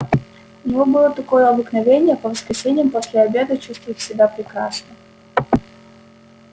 у него было такое обыкновение по воскресеньям после обеда чувствовать себя прекрасно